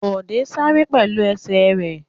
Bọ̀dé sáré pẹ̀lú ẹsẹ̀ rẹ̀.